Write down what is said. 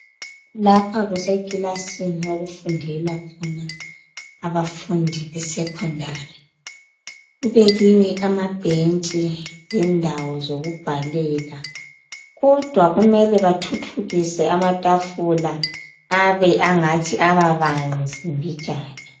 Lapha kusekilasini okufundela khona abafundi beSekhondari. Kubekiwe amabhentshi lendawo zokubhalela kodwa kumele bathuthukise amatafula abe ngathi ababanzi mbijana